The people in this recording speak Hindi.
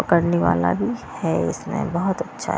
करने वाला भी है इसमें बहुत अच्छा --